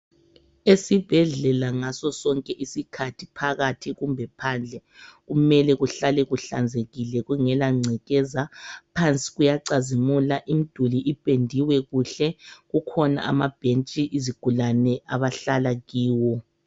Esibhedlela ngaso sonke isikhathi phakathi kumbe phandle kumele kuhlale kuhlanzekile kungela ngcekeza. Phansi kuyacazimula imduli ipendiwe kuhle, kukhona amabhentshi izigulane abahlala kiwo.